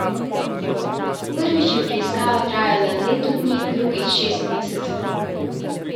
Prvič je preiskava trajala leto dni, drugič šest mesecev.